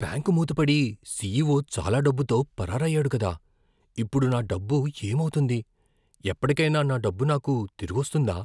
Bank మూతపడి, CEO చాలా డబ్బుతో పరారయ్యాడు కదా, ఇప్పుడు నా డబ్బు ఏమవుతుంది? ఎప్పటికైనా నా డబ్బు నాకు తిరిగొస్తుందా?